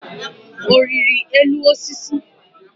Ọ riri elu osisi?